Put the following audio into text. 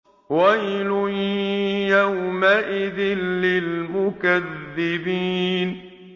وَيْلٌ يَوْمَئِذٍ لِّلْمُكَذِّبِينَ